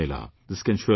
This can surely be done